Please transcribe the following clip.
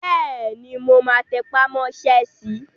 Bẹ́ẹ̀ni, mo máa tẹpà mọ́ sẹ́ si